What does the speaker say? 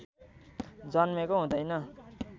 जन्मेको हुँदैन